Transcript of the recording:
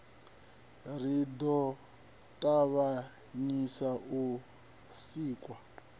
ri ḓo ṱavhanyisa u sikwa